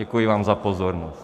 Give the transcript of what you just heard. Děkuji vám za pozornost.